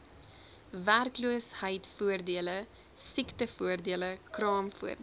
werkloosheidvoordele siektevoordele kraamvoordele